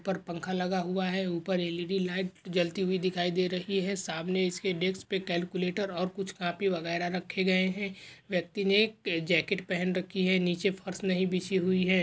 ऊपर पंखा लगाया हुआ है ऊपर एल_ई_डी लाइट जलती हुई दिखाई दे रही है सामने इसके डेस्क पे क्याल्कुलेटोर और कुछ कापी वगैरा रखे गए है व्यक्ती ने एक जाकेट पेहन राखी है नीचे फर्श नही बिछी हुई है।